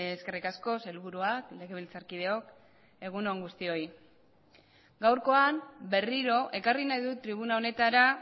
eskerrik asko sailburuak legebiltzarkideok egun on guztioi gaurkoan berriro ekarri nahi dut tribuna honetara